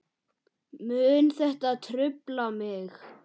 Mun þetta trufla mig?